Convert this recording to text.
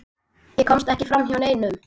Ég komst ekki framhjá neinum.